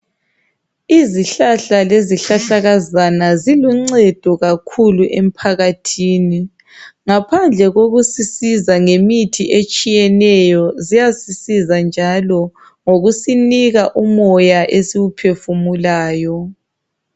Izihlahla lezihlahlakazana ziluncedo kakhulu empakathini, ngaphandle kokusisiza ngemithi etshiyeneyo, ziyasisiza njalo ngokusinika umoya esiwuphefumulayo.